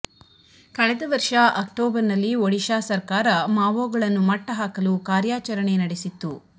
ಕಳೆದ ವರ್ಷ ಅಕ್ಟೋಬರ್ ನಲ್ಲಿ ಓಡಿಶಾ ಸರ್ಕಾರ ಮಾವೋಗಳನ್ನು ಮಟ್ಟಹಾಕಲು ಕಾರ್ಯಾಚರಣೆ ನಡೆಸಿತ್ತು